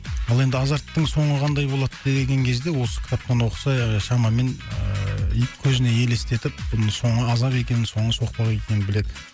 ал енді азарттың соңы қандай болады деген кезде осы кітаптан оқыса шамамен ыыы и көзіне елестетіп бұның соңы азап екенін соңы соқпақ екенін біледі